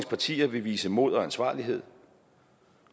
partier vil vise mod og ansvarlighed